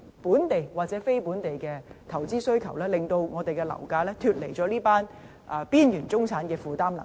本地或非本地的投資需求，令樓價脫離了這群邊緣中產人士的負擔能力。